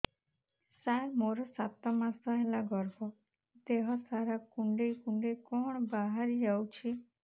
ସାର ମୋର ସାତ ମାସ ହେଲା ଗର୍ଭ ଦେହ ସାରା କୁଂଡେଇ କୁଂଡେଇ କଣ ବାହାରି ଯାଉଛି